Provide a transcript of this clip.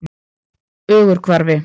Ögurhvarfi